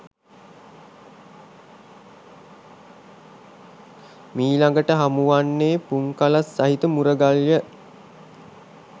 මීළඟට හමුවන්නේ පුන්කලස් සහිත මුරගල්ය.